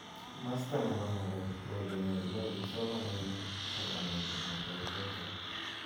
Masta nebo ng'alek ko olonyorunei kipsomaninik ak kanetik ng'alek choto.